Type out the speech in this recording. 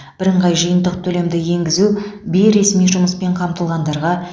бірыңғай жиынтық төлемді енгізу бейресми жұмыспен қамтылғандарға